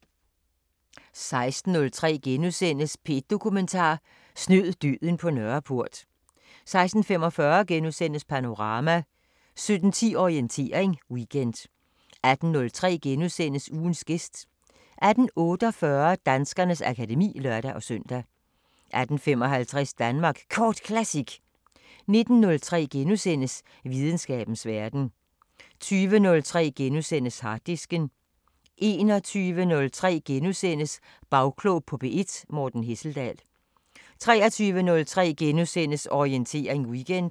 16:03: P1 Dokumentar: Snød døden på Nørreport * 16:45: Panorama * 17:10: Orientering Weekend 18:03: Ugens gæst * 18:48: Danskernes akademi (lør-søn) 18:55: Danmark Kort Classic 19:03: Videnskabens Verden * 20:03: Harddisken * 21:03: Bagklog på P1: Morten Hesseldahl * 23:03: Orientering Weekend *